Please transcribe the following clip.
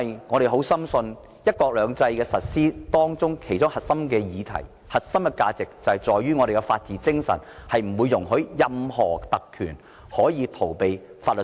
我們深信，"一國兩制"的實施和香港的核心價值在於法治精神，是不容許任何特權逃避法律責任的。